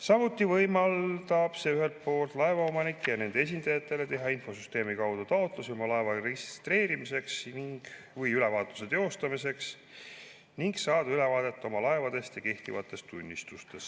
Samuti võimaldab see ühelt poolt laevaomanikel ja nende esindajatel teha infosüsteemi kaudu taotlusi oma laeva registreerimiseks või ülevaatuse teostamiseks ning saada ülevaadet oma laevadest ja kehtivatest tunnistustest.